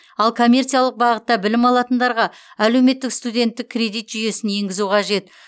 ал коммерциялық бағытта білім алатындарға әлеуметтік студенттік кредит жүйесін енгізу қажет